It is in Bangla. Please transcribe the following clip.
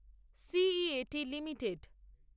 সিইএটি লিমিটেড